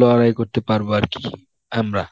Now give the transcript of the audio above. লড়াই করতে পারবো আরকি, আমরা.